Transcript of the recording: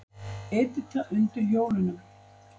Edita undir hjólunum.